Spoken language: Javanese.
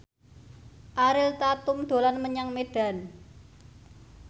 Ariel Tatum dolan menyang Medan